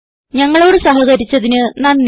ഞങ്ങളോട് സഹകരിച്ചതിന് നന്ദി